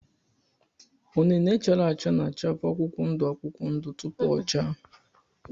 unine chara acha na-achavu akwụkwọ ndụ akwụkwọ ndụ tupu o chaa.